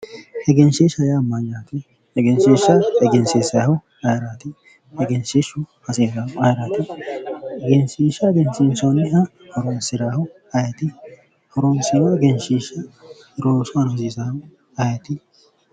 egenshiishsha yaa mayyaate? egenshiishsha egensiinsayihu mayiraati egenshiishshu hasiisaahu ayiraati? egenshiishsha egensiinsoonniha horoonsiraahu ayiti? horoonsirino egnsiishsha loosu aana hosiisaahu ayiti?